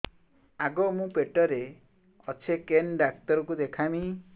ଆଗୋ ମୁଁ ପେଟରେ ଅଛେ କେନ୍ ଡାକ୍ତର କୁ ଦେଖାମି